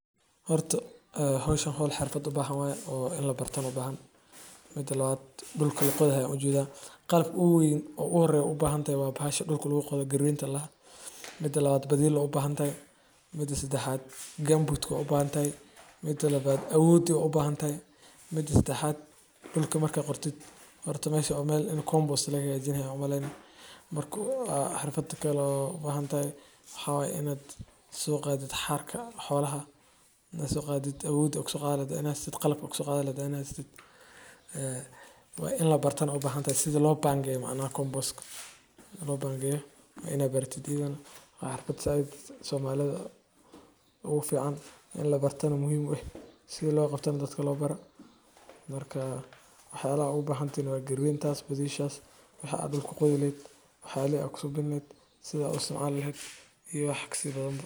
Horto howshan howl xirfad u bahan waye oo ini labartana u bahan Dhulka la qodayo waa marxalad muhiim ah oo ka mid ah diyaarinta dhulka beerista. Marka la rabo in dhul la beero, waxaa horta loo baahan yahay gum boots in la qodo si carradu u jilciso, hawadu u gasho, una fududaato in abuurka lagu rido. Oo compost Qodista dhulku waxay sidoo kale kaa caawisaa compostana in la burburiyo cawska, xididdada geedaha duqoobay, iyo waxyaabaha kale ee carada adkeeya. Waxaa kaloo la qodayaa si loo isku daro bacriminta dabiiciga ah sida digada ama humus-ka, taasoo kor u qaadda nafaqada dhirta.